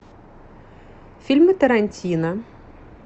фильмы тарантино